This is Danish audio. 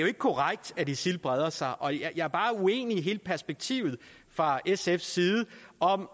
ikke korrekt at isil breder sig og jeg er bare uenig i hele perspektivet fra sfs side om